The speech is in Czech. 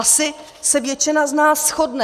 Asi se většina z nás shodne...